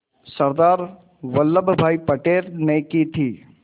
सरदार वल्लभ भाई पटेल ने की थी